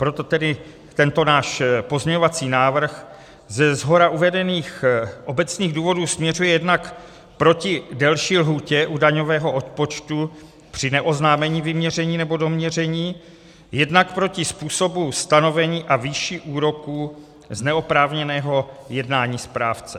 Proto tedy tento náš pozměňovací návrh ze shora uvedených obecných důvodů směřuje jednak proti delší lhůtě u daňového odpočtu při neoznámení vyměření nebo doměření, jednak proti způsobu stanovení a výši úroku z neoprávněného jednání správce.